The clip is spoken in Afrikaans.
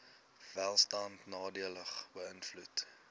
welstand nadelig beïnvloed